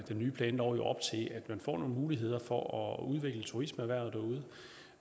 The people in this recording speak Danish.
nye planlov jo op til at man får nogle muligheder for at udvikle turismeerhvervet derude